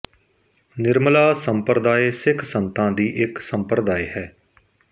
ਨਿਰਮਲਾ ਸੰਪਰਦਾਇ ਸਿੱਖ ਸੰਤਾਂ ਦੀ ਇੱਕ ਸੰਪਰਦਾਇ ਹੈ